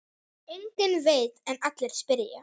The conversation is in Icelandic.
Enginn veit en allir spyrja.